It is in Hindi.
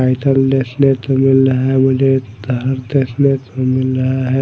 साइकल देखने को मिल रहा है मुझे तार देखने को मिल रहा है